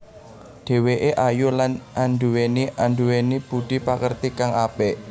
Dheweké ayu lan anduweni anduweni budhi pakerti kang apik